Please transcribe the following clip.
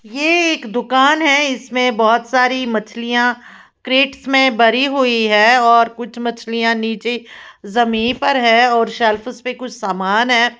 ये एक दुकान है इसमें बहोत सारी मछलियां क्रेट्स में भरी हुई है और कुछ मछलियां नीचे जमीन पर है और सेल्फेस पे कुछ सामान है।